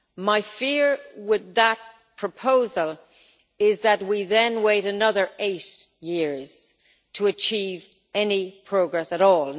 My fear with that proposal is that we would then wait another eight years to achieve any progress at all.